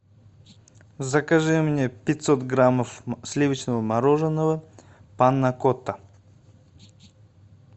закажи мне пятьсот граммов сливочного мороженого панакота